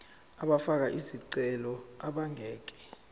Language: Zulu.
abafake izicelo abangeke